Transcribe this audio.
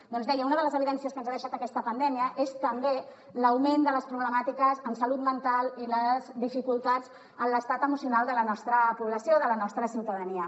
doncs deia una de les evidències que ens ha deixat aquesta pandèmia és també l’augment de les problemàtiques en salut mental i les dificultats en l’estat emocional de la nostra població de la nostra ciutadania